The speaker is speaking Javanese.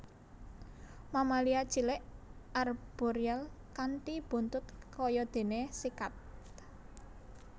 Mamalia cilik arboreal kanthi buntut kayadene sikat